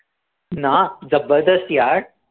ना जबरदस्त यार